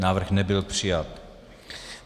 Návrh nebyl přijat.